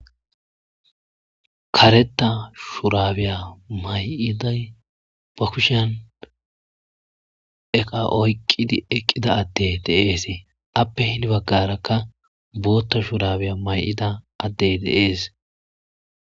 kareta shurabiya may7iday bakushan eqa oyqqidi eqqida adde deeesee appe hini baggarakka bootta shurabiya may7ida addey deees